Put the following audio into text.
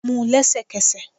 mú un lẹsẹkẹsẹ